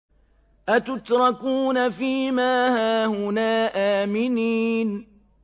أَتُتْرَكُونَ فِي مَا هَاهُنَا آمِنِينَ